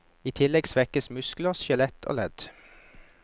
I tillegg svekkes muskler, skjelett og ledd.